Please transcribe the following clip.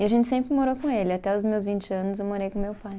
E a gente sempre morou com ele, até os meus vinte anos eu morei com meu pai.